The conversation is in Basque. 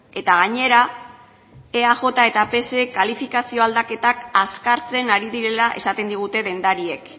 eta gainera eaj eta psek kalifikazio aldaketak azkartzen ari direla esaten digute dendariek